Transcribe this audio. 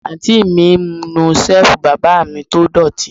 Àǹtí mi ń nu Ṣẹ́ẹ̀fù bàbá mi tó dọ̀tí